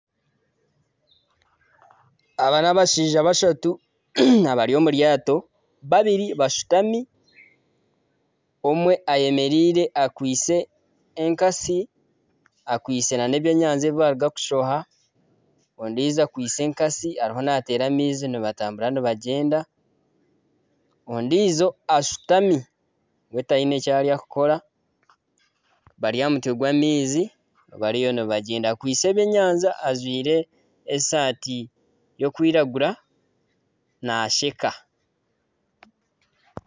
Aba n'abashaija bashatu bari omwe ayemereire akwitse enkatsi nana ebyenyanja ebi baaruga kushoha, ondiijo akwitse enkatsi ariho naateera amaizi nibatambura nibagyenda, ondiijo ashutami we tihaine eki arikukora bari aha mutwe gw'amaizi bariyo nibagyenda akwitse ebyenyanja ajwaire esaati y'okwiragura naasheka